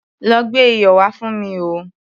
Lọ gbé iyọ̀ wá fún mi o.